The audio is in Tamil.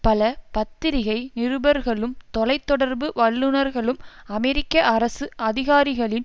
பல பத்திரிகை நிருபர்களும் தொலை தொடர்பு வல்லுநர்களும் அமெரிக்க அரசு அதிகாரிகளின்